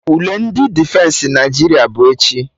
Ule ndị Defensị Naịjirịa bụ echi